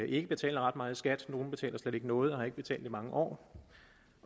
ikke betaler ret meget i skat nogle betaler slet ikke noget og har ikke betalt i mange år